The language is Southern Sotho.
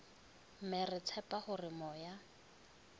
mme re tshepa hore moya